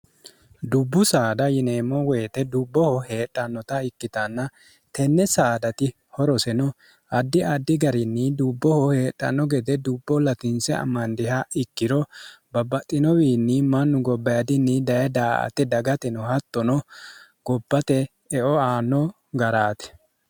dubbu saada yineemmo woyite dubboho heedhannota ikkitanna tenne saadati horose no addi addi garinni dubboho heedhanno gede dubbo ltinse amandiha ikkiro babbaxxinowiinni mannu gobba yadinni daye daa ate dagatino hattono gobbate eo aano garaate